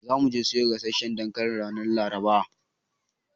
Za mu je mu siyo gasasshan dankali ranar Laraba.